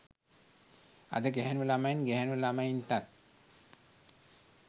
අද ගැහැනු ළමයින් ගැහැනු ළමයින්ටත්